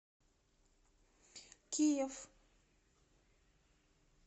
киев